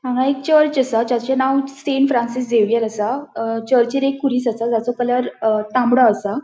हांगा एक चर्च असा चर्चचे नाव सेंट फ्रांसिस झेवियर असा चर्चिन एक कुरिस असा त्यासो कलर तामडो असा.